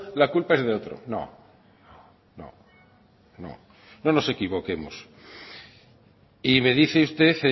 la culpa es de otro no no nos equivoquemos y me dice usted